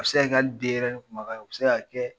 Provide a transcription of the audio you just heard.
U bɛ se ka kɛ hali denɲɛrɛnin kumakan ye u bɛ se kɛ